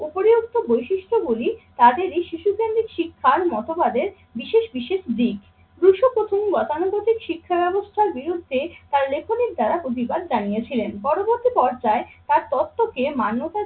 বৈশিষ্ট্যগুলি তাদের এই শিশু কেন্দ্রিক শিক্ষার মতবাদে বিশেষ বিশেষ দিক। গতানুগতিক শিক্ষা ব্যবস্থার বিরুদ্ধে তার লেখনের দ্বারা প্রতিবাদ জানিয়েছিলেন। পরবর্তী পর্যায়ে তার তত্ত্বকে মান্যতা